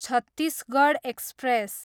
Chhattisgarh express